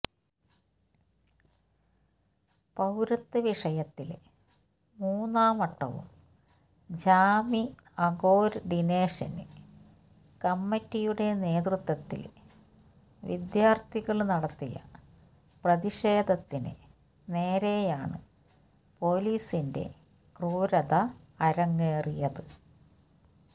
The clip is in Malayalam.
പൌരത്വ വിഷയത്തില് മൂന്നാം വട്ടവും ജാമിഅ കോര്ഡിനേഷന് കമ്മറ്റിയുടെ നേതൃത്വത്തില് വിദ്യാര്ഥികള് നടത്തിയ പ്രതിഷേധത്തിന് നേരെയാണ് പൊലീസിന്റെ ക്രൂരത അരങ്ങേറിയത്